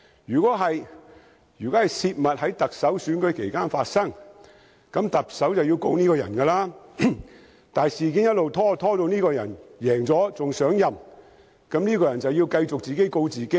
若是，如果有人在行政長官選舉期間泄密，那麼行政長官便要控告這個人，但如事件一直拖延至這個人勝出並上任，那麼這個人便要繼續自己告自己了。